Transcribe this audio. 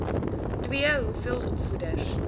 ii hoeveel opvoeders